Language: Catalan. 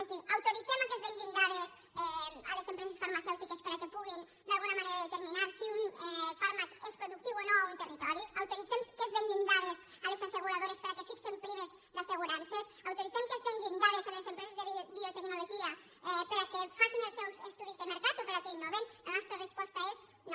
és a dir autoritzem que es venguin dades a les empreses farmacèutiques perquè puguin d’alguna manera determinar si un fàrmac és productiu o no a un territori autoritzem que es venguin dades a les asseguradores perquè fixin primes d’assegurances autoritzem que es venguin dades a les empreses de biotecnologia perquè facin els seus estudis de mercat o perquè innovin la nostra resposta és no